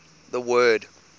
the word